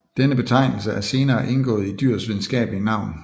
Denne betegnelse er senere indgået i dyrets videnskabelige navn